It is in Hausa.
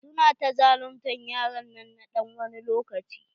Su na ta zaluntar yaron nan na ɗan wani lokaci.